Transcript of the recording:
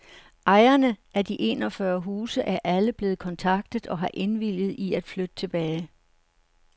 Ejerne af de enogfyrre huse er alle blevet kontaktet og har indvilget i at flytte tilbage.